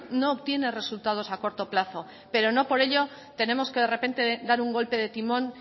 no obstiene resultados a corto plazo pero no por ello tenemos de repente dar un golpe de timón